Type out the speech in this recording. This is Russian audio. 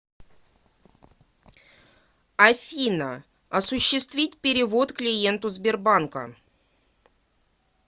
афина осуществить перевод клиенту сбербанка